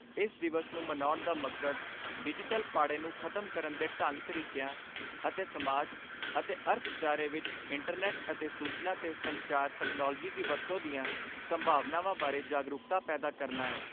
ਇਸ ਦਿਵਸ ਨੂੰ ਮਨਾਉਣ ਦਾ ਮਕਸਦ ਡਿਜੀਟਲ ਪਾੜੇ ਨੂੰ ਖਤਮ ਕਰਨ ਦੇ ਢੰਗ ਤਰੀਕਿਆਂ ਅਤੇ ਸਮਾਜ ਅਤੇ ਅਰਥਚਾਰੇ ਵਿਚ ਇੰਟਰਨੈੱਟ ਅਤੇ ਸੂਚਨਾ ਤੇ ਸੰਚਾਰ ਤਕਨਾਲੋਜੀ ਦੀ ਵਰਤੋਂ ਦੀਆਂ ਸੰਭਾਵਨਾਵਾਂ ਬਾਰੇ ਜਾਗਰੂਕਤਾ ਪੈਦਾ ਕਰਨਾ ' ਏ।